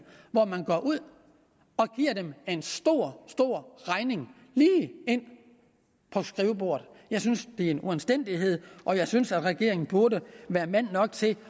hvor man går ud og giver dem en stor stor regning lige ind på skrivebordet jeg synes det er en uanstændighed og jeg synes at regeringen burde være mand nok til